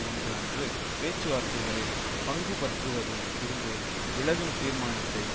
ஒன்று அன்று பேச்சுவார்த்தைகளில் பங்குபற்றுவதில் இருந்து விலகும் தீர்மானத்தை